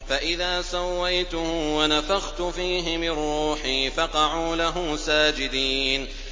فَإِذَا سَوَّيْتُهُ وَنَفَخْتُ فِيهِ مِن رُّوحِي فَقَعُوا لَهُ سَاجِدِينَ